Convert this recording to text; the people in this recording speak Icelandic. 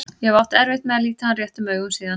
Ég hef átt erfitt með að líta hann réttum augum síðan.